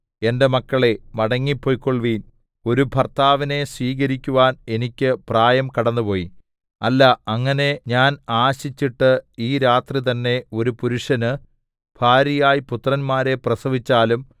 എന്റെ മക്കളേ മടങ്ങിപ്പൊയ്ക്കൊൾവിൻ ഒരു ഭർത്താവിനെ സ്വീകരിക്കുവാൻ എനിക്ക് പ്രായം കടന്നുപോയി അല്ല അങ്ങനെ ഞാൻ ആശിച്ചിട്ടു ഈ രാത്രി തന്നേ ഒരു പുരുഷന് ഭാര്യയായി പുത്രന്മാരെ പ്രസവിച്ചാലും